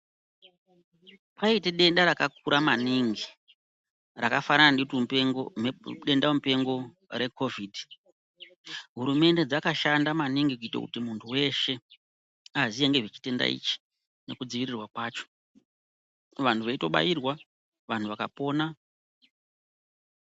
Paite denda rakakura maningi rakafanana dutumupengo, mhep, dendamupengo rekovhiti, hurumende dzakashanda maningi kuite kuti munthu weshe aziye ngezvechitenda ichi nekudziirirwa kwacho, vanhu veitobairwa vanhu vakapona.